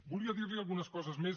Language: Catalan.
volia dirli algunes coses més